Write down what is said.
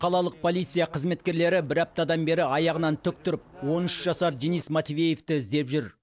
қалалық полиция қызметкерлері бір аптадан бері аяғынан тік тұрып он үш жасар денис матвеевті іздеп жүр